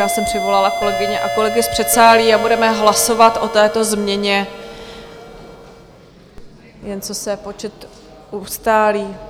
Já jsem přivolala kolegyně a kolegy z předsálí a budeme hlasovat o této změně, jen co se počet ustálí.